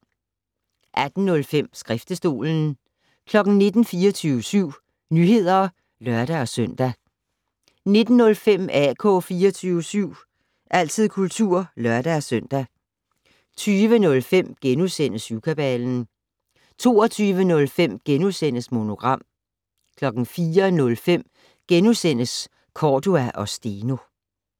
18:05: Skriftestolen 19:00: 24syv Nyheder (lør-søn) 19:05: AK 24syv - altid kultur (lør-søn) 20:05: Syvkabalen * 22:05: Monogram * 04:05: Cordua & Steno *